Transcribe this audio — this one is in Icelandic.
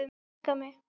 Ég elska mig!